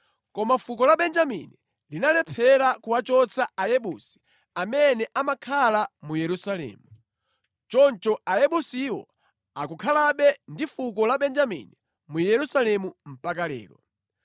Koma fuko la Benjamini linalephera kuwachotsa Ayebusi, amene amakhala mu Yerusalemu. Choncho Ayebusiwo akukhalabe ndi fuko la Benjamini mu Yerusalemu mpaka lero.